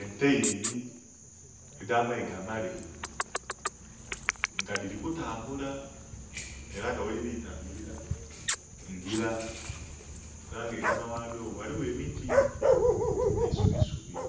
Ente ibili edh'amayiga amaleyi nga dhiri kutambula era nga ghedhili kutambulira, ngira, era nga enhuma ghadho ghaligho emiti nh'eisubisubi